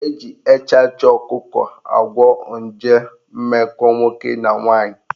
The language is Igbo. Eji echachị ọkụkọ agwọ nje mmekọ nwoke na nwaanyị